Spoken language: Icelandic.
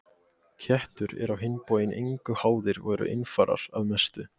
Kettir eru á hinn bóginn engum háðir og eru einfarar að mestu.